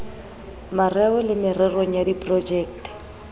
mareo le mererong ya diprojekte